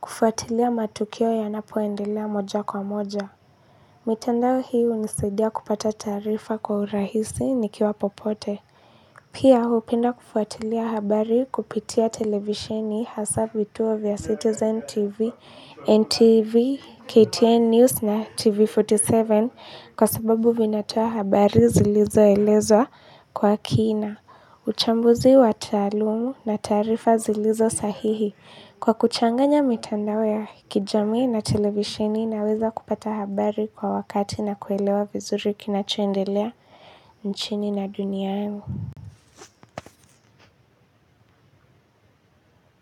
kufuatilia matukio yanapoendelea moja kwa moja. Mitandao hii hunisedia kupata taarifa kwa urahisi nikiwa popote. Pia hupenda kufuatilia habari kupitia televisheni hasa vituo vya Citizen TV, NTV, KTN News na TV arobaini na saba kwa sababu vinatoa habari zilizoelewa kwa kina. Uchambuzi wa taalumu na taarifa zilizo sahihi kwa kuchanganya mitandao ya kijami na televisheni naweza kupata habari kwa wakati na kuelewa vizuri kinachoendelea nchini na dunia yangu.